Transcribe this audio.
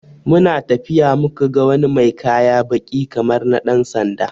We saw someone with black cloth like police uniform, when we were walking.